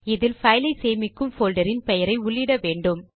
இதில் பைல் ஐ சேமிக்கும் போல்டரின் பெயரை உள்ளிடவேண்டும்